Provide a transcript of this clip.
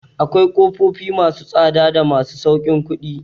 Akwai ƙofofi ma su tsada da masu sauƙin kuɗi.